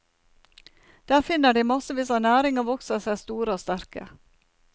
Der finner de massevis av næring og vokser seg store og sterke.